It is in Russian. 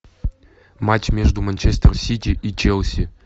матч между манчестер сити и челси